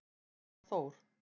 hjá Þór.